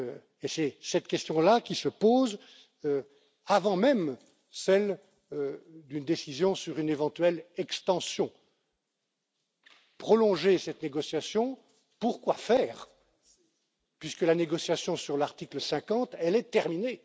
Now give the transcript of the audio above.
Et cette question là se pose avant même celle d'une décision sur une éventuelle extension. Prolonger cette négociation, pour quoi faire, puisque la négociation sur l'article 50 est terminée?